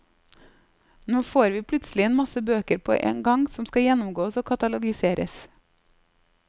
Nå får vi plutselig en masse bøker på en gang som skal gjennomgås og katalogiseres.